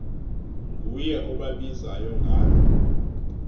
nguye obabizayo ngalo